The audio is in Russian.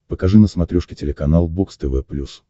покажи на смотрешке телеканал бокс тв плюс